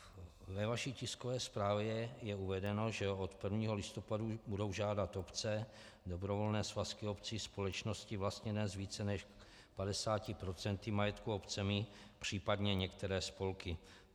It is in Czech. Ve vaší tiskové zprávě je uvedeno, že od 1. listopadu budou žádat obce, dobrovolné svazky obcí, společnosti vlastněné z více než 50 % majetku obcemi, příp. některé spolky.